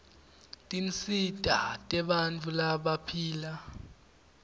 tinsita tebantfu labaphila